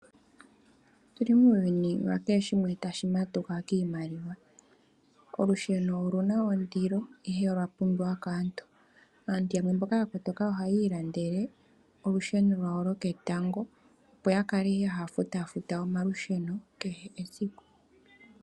Otuli muuyuni wa keheshimwe tashi matuka kiimaliwa. Olusheno oluna oondilo ihe olwa pumbiwa kaantu. Aantu yamwe mboka ya kotoka ohay ilandele olusheno lwawo lo ketango, opo ya haa kale taya futafuta omalusheno kehe esiku